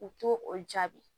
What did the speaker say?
U t'o o jaabi